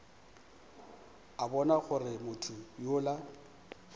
a bona gore motho yola